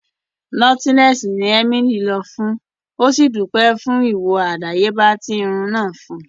Nọ́tílẹ́ẹ́sì ní emilí lọ fún ó sì dúpẹ́ fún ìwòo àdáyébá tí irun náà fún un